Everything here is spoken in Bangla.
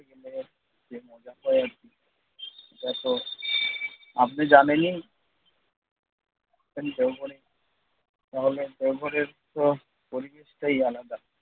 যে মজা হয় সেটা তো আপনি জানেনই তাহলে দেওঘরের তো পরিবেশটাই আলাদা।